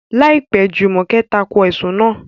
Láìpẹ́, Jùmọ̀kẹ́ tako ẹ̀sùn náà.